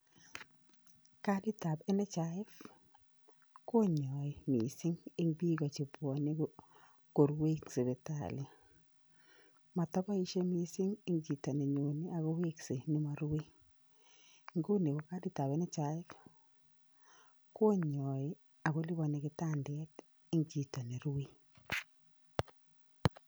Kaditab NHIF konyoe mising en biik chebwonee korue en sipital motoboisie mising en chito nenyon akowekse nemorue, inguni ko kaditab NHIF konyoe ako lipani kitandet en chito nerue.